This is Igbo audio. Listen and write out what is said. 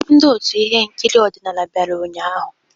Ndi ọtú ihe nkiri ọdịnala bịara ụnyahụ?